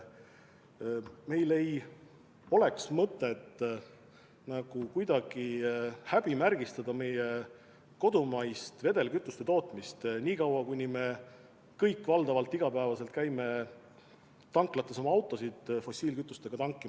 Meil ei ole mõtet kuidagi häbimärgistada meie kodumaist vedelkütuste tootmist niikaua, kuni me kõik iga päev käime tanklates oma autosid fossiilkütusega tankimas.